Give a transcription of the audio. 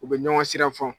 U bɛ ɲɔgɔn sira fɔ